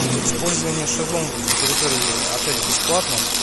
использование шезлонгов на территории отеля бесплатно